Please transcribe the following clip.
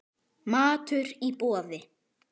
Matur í boði.